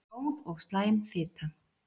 Góð og slæm fita